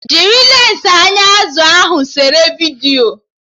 Jiri lensi anya azụ ahụ sere vidiyo!